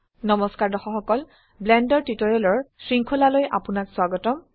নমস্কাৰ দৰ্শক সকল ব্লেন্ডাৰ টিউটোৰিয়েলৰ শৃঙ্খলালৈ আপোনাক স্বাগতম